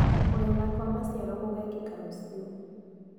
Kũgetha kwa maciaro gũgekĩka rũciũ.